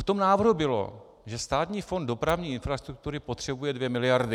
V tom návrhu bylo, že Státní fond dopravní infrastruktury potřebuje dvě miliardy.